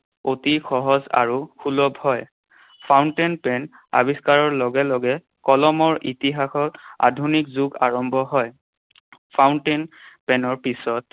অতি সহজ আৰু সুলভ হয়। Fountain pen আৱিষ্কাৰৰ লগে লগে কলমৰ ইতিহাসত আধুনিক যুগ আৰম্ভ হয়। Fountain pen ৰ পিছত